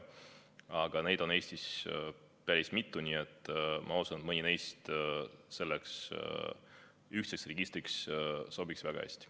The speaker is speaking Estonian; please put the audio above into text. Aga neid registreid on Eestis päris mitu, nii et ma usun, et mõni neist sobiks selleks ühtseks registriks väga hästi.